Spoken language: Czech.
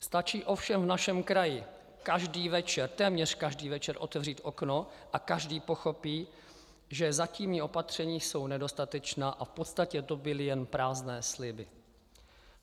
Stačí ovšem v našem kraji každý večer, téměř každý večer, otevřít okno a každý pochopí, že zatímní opatření jsou nedostatečná a v podstatě to byly jen prázdné sliby.